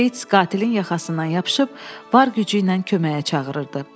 Beits qatilin yaxasından yapışıb var gücü ilə köməyə çağırırdı.